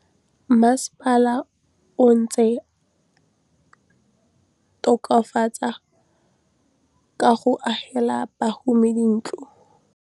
Mmasepala o neetse tokafatsô ka go agela bahumanegi dintlo.